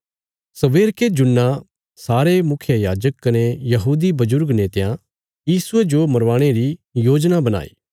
सबेरके जुन्ना सारे मुखियायाजक कने यहूदी बजुर्ग नेतयां यीशुये जो मरवाणे री योजना बणाई